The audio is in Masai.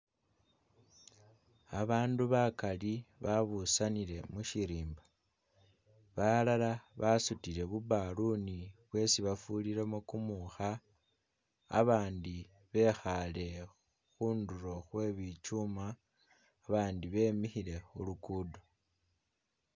Abandu bagaali babusanile mushirimba balala basudile bu'baloon bwesi bafurilemu gumukha babandi bekhaale khunduro khwe bi chuma babandi bemikhile khu lugudo.